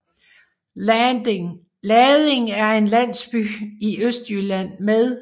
Lading er en landsby i Østjylland med